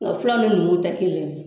Nka filaw ni numuw tɛ kelen ye.